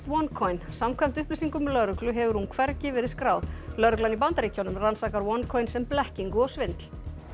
OneCoin samkvæmt upplýsingum lögreglu hefur hún hvergi verið skráð lögreglan í Bandaríkjunum rannsakar OneCoin sem blekkingu og svindl